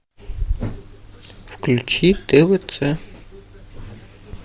включи твц